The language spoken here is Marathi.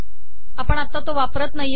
आपण तो आता वापरत नाही